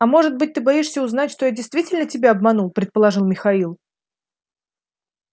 а может быть ты боишься узнать что я действительно тебя обманул предположил михаил